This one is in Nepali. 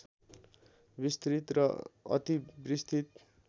विस्तृत र अतिविस्तृत